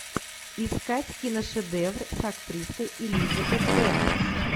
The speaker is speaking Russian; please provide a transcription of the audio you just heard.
искать киношедевр с актрисой элизабет бенкс